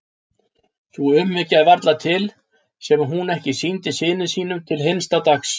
Sú umhyggja er varla til sem hún ekki sýndi syni sínum til hinsta dags.